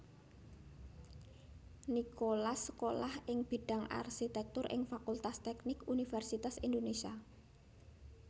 Nicholas sekolah ing bidang Arsitektur ing Fakultas Teknik Universitas Indonésia